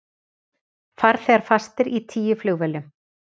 Farþegar fastir í tíu flugvélum